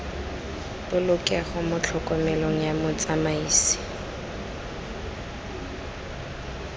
polokego mo tlhokomelong ya motsamaisi